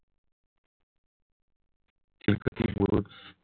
हे बुरुज